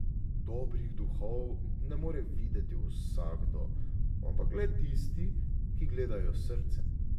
Dobrih duhov ne more videti vsakdo, ampak le tisti, ki gledajo s srcem.